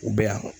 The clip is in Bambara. U bɛ yan